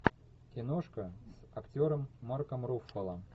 киношка с актером марком руффало